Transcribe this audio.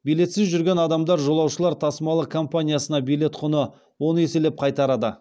билетсіз жүрген адамдар жолаушылар тасымалы компаниясына билет құны он еселеп қайтарады